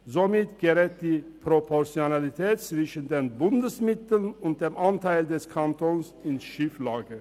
Somit gerät die Proportionalität zwischen den Bundesmitteln und dem Anteil des Kantons in Schieflage.